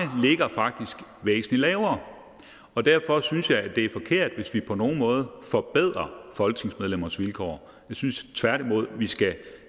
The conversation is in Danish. ligger faktisk væsentlig lavere og derfor synes jeg det er forkert hvis vi på nogen måde forbedrer folketingsmedlemmers vilkår jeg synes tværtimod vi skal